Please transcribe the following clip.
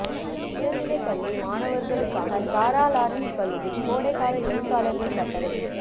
உயர்நிலை பள்ளி மாணவர்களுக்கான சாரா லாரன்ஸ் கல்லூரி கோடைக்கால எழுத்தாளர்கள் பட்டறை